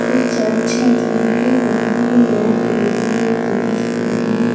एक चर्च है जहाँ पे बहुत सारे लोग लेडीज और जेंट्स खड़े हैं।